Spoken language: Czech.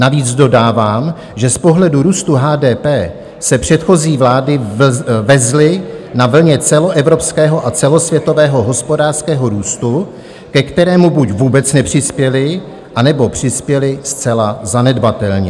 Navíc dodávám, že z pohledu růstu HDP se předchozí vlády vezly na vlně celoevropského a celosvětového hospodářského růstu, ke kterému buď vůbec nepřispěly, anebo přispěly zcela zanedbatelně.